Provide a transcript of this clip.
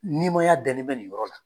Niimaya daken bɛ nin yɔrɔ la.